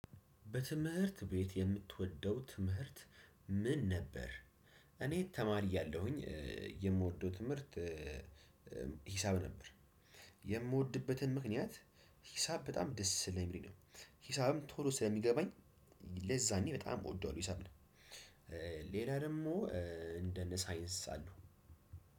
በትምህርት ቤት የምትወደው ትምህርት ምን ነበር? እኔ ተማሪ እያለሁኝ የምወደው ትምህርት ሂሳብ ነበር። የምወድበትን ምክንያት ሂሳብ በጣም ደስ ስለሚለኝ ነው። ሂሳብም ቶሎ ስለሚገባኝ ለዛ እኔ በጣም እወደዋለሁ ሂሳብን። ሌላ ደግሞ እንደነ ሳይንስ አሉ